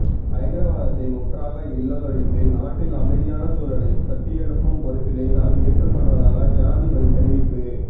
பயங்கரவாதத்தை முற்றாக இல்லாதொழித்து நாட்டில் அமைதியான சூழலைக் கட்டியெழுப்பும் பொறுப்பினை தான் ஏற்றுக்கொள்வதாக ஜனாதிபதி தெரிவிப்பு